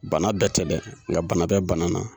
Bana bɛɛ tɛ dɛ nga bana bɛ bana na.